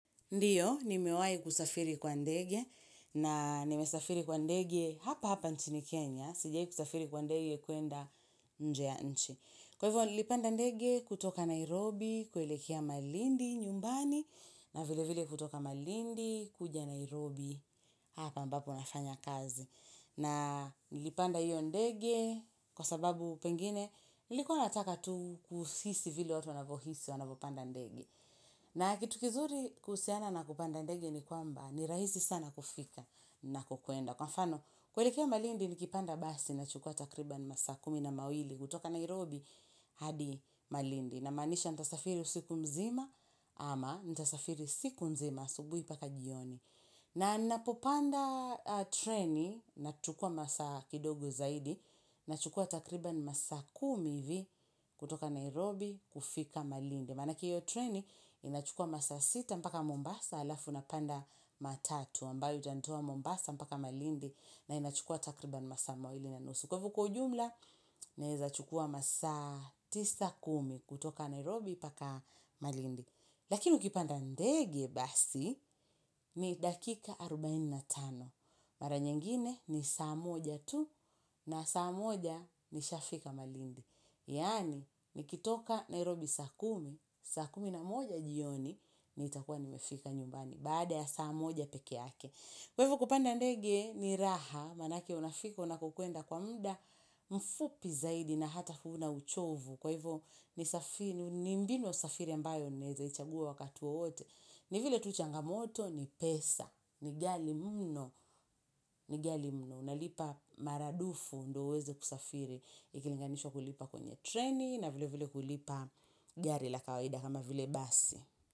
Ndiyo, ni mewahi kusafiri kwa ndegye na nimesafiri kwa ndege hapa hapa nchini Kenya. Sijai kusafiri kwa ndege kuenda nje ya nchi. Kwa hivyo, nilipanda ndege kutoka Nairobi, kuelekea malindi, nyumbani, na vile vile kutoka malindi, kuja Nairobi, hapa mbapo nafanya kazi. Na nilipanda hiyo ndege kwa sababu pengine, nilikuwa nataka tu kuhisi vile watu wanavohisi wanavopanda ndegye. Na kitu kizuri kuhusiana na kupanda ndege ni kwamba ni rahisi sana kufika ninakukwenda. Kwa mfano kuelekea malindi nikipanda basi nachukua takriban masaa kumi na mawili kutoka Nairobi hadi malindi. Namaanisha nitasafiri usiku mzima ama nitasafiri siku nzima subuhi mpaka jioni. Na ninapopanda treni nachukua masaa kidogo zaidi nachukua takriban masaa kumi hivi kutoka Nairobi kufika malindi. Maana hiyo treni, inachukua masaa sita mpaka Mombasa, alafu napanda matatu, ambayo itanitoa Mombasa mpaka Malindi, na inachukua takriban masaa mawili na nusu. Kwa hivyo kwa ujumla, naeza chukua masa tisa, kumi kutoka Nairobi mpaka Malindi. Lakini ukipanda ndege basi, ni dakika arubaini na tano. Mara nyingine ni saa moja tu, na saa moja ni shafika Malindi. Yaani, nikitoka Nairobi saa kumi, saa kumi na moja jioni, ni itakuwa nimefika nyumbani. Baada ya saa moja peke yake. Kwa hivyo kupanda ndege ni raha, manake unafika unakokwenda kwa muda mfupi zaidi na hata huna uchovu. Kwa hivyo ni mbinu ya safiri ambayo naezaichagua wakati wowote. Ni vile tu changamoto ni pesa, ni ghali mno, ni ghali mno. Unalipa maradufu ndo uweze kusafiri ikilinganishwa kulipa kwenye treni na vile vile kulipa gari la kawaida kama vile basi.